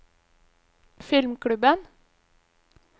filmklubben